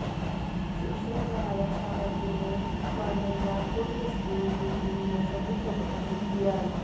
शिक्षण सहायक सामग्री में मांढइया खुर्द स्कूल की टीम ने सभी को प्रभावित किया